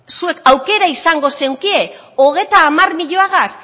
zuek aukera izango zenuketen hogeita hamar milioigaz